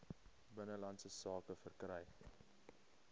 binnelandse sake verkry